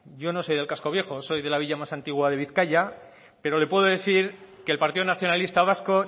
yo no soy del casco viejo soy de la villa más antigua de bizkaia pero le puedo decir que el partido nacionalista vasco